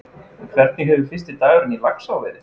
En hvernig hefur fyrsti dagurinn í Laxá verið?